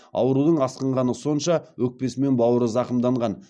аурудың асқынғаны сонша өкпесі мен бауыры зақымданған